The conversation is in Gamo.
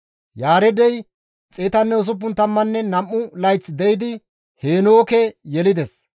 Yaareedey 162 layth de7idi Heenooke yelides;